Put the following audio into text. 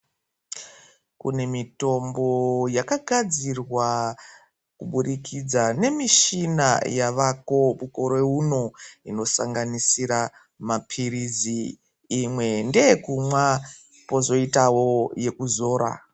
Kune mitombo yakagadzirwa kubudikidza nemishina yavako mukore uno. Inosanganisira maphirizi imwe ndeyekumwa pozoitavo yekuzora.